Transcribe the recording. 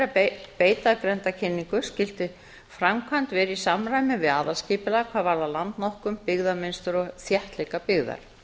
að beita grenndarkynningu skyldi framkvæmd vera í samræmi við aðalskipulag hvað varðar landnotkun byggðamynstur og þéttleika byggðar